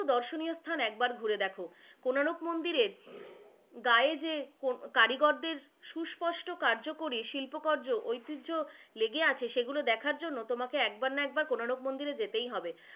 দর্শনীয় স্থান একবার ঘুরে দেখ। কোনারক মন্দিরের গায়ে যে কারিগরদের সুস্পষ্ট কার্যকরী শিল্পকার্য, ঐতিজহয় লেগে আছে সেগুলো দেখার জন্য তোমাকে একবার না একবার কোনারক মন্দিরে যেতেই হবে,